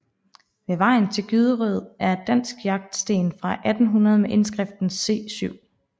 Ved vejen til Gyderød er et dansk jagtsten fra 1800 med indskrift C 7